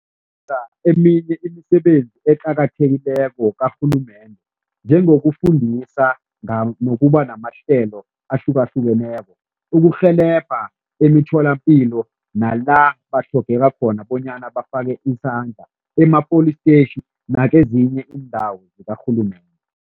Eminye imisebenzi eqakathekileko karhulumende, njengokufundisa nokuba namahlelo ahlukahlukeneko, ukurhelebha emitholapilo nala batlhogeka khona bonyana bafake isandla, ema-police station nakezinye iindawo zikarhulumende.